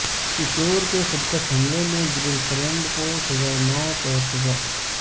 کشور کے خودکش حملے میں گرل فرینڈ کو سزائے موت اور سزا